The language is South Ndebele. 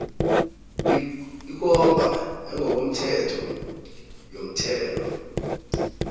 ikomba yangokomthetho yomthelo